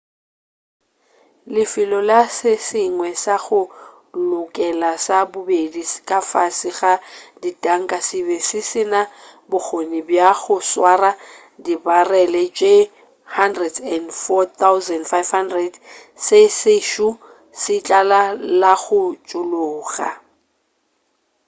lefelo la se sengwe sa go lokela sa bobedi ka fase ga ditanka se be se sena bokgone bja go swara dibarele tše 104,500 se sešo se tlala la go tšhologa